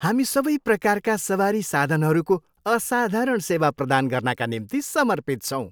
हामी सबै प्रकारका सवारी साधनहरूको असाधारण सेवा प्रदान गर्नाका निम्ति समर्पित छौँ।